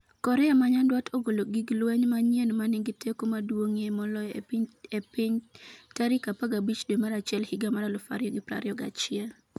Korea ma Nyanduat ogolo gig lweny manyien 'ma nigi teko maduong'ie moloyo e piny' tarik 15 dwe mar achiel higa mar 2021